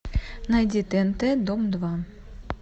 найди тнт дом два